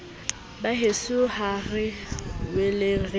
baheso ha re boeleng re